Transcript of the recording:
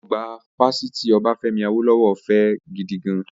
Ọgbà Fásitì Obafemi Awolowo fẹ́ gidigan